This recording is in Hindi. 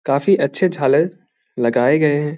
काफी अच्छे झालर लगाए गए हैं।